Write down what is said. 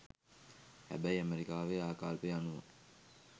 හැබැයි අමෙරිකාවේ ආකල්පය අනුව